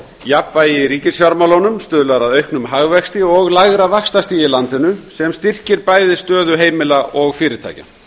jafnvægi í ríkisfjármálum stuðlar að auknum hagvexti og lægra vaxtastigi í landinu sem styrkir stöðu bæði heimila og fyrirtækja